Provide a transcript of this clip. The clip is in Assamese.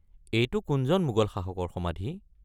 এইটো কোনজন মোগল শাসকৰ সমাধি?